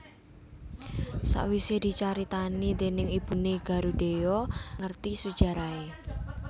Sawisé dicaritani dèning ibuné Garudheya ngerti sujarahé